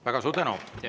Väga suur tänu!